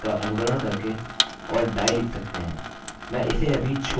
अच्छा तो अपने पेज को रिफ्रेशrefresh करते हैं